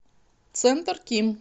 центр ким